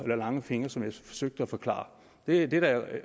lange fingre som jeg forsøgte at forklare det er da